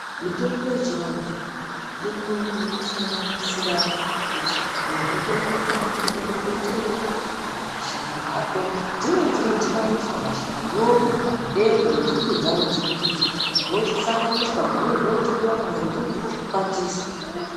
Mitombo yechianthu, inosanganisira kuti munthu otora makwande emumbuti ere kana mashakanyi akhona?. Dzimweni dzinodhibaniswa mashakaniwo, makwande nenzinde dzawo dzemumbuti zvosanganiswa pamweni zvothwiwa kana kuti zvinokwatiswa.